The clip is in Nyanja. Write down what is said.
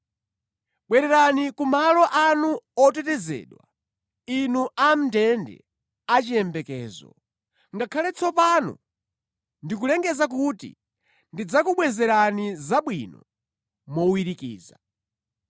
Bwererani ku malo anu otetezedwa, inu amʼndende achiyembekezo; ngakhale tsopano ndikulengeza kuti ndidzakubwezerani zabwino mowirikiza.